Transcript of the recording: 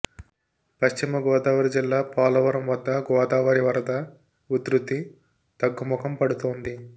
పశ్చిమగోదావరి జిల్లా పోలవరం వద్ద గోదావరి వరద ఉధృతి తగ్గుముఖం పడుతోంది